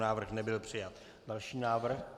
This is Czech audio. Návrh nebyl přijat. Další návrh.